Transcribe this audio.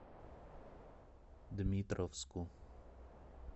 дмитровску